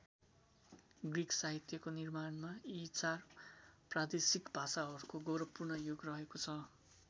Greek साहित्यको निर्माणमा यी चार प्रादेशिक भाषाहरूको गौरवपूर्ण योग रहेको छ।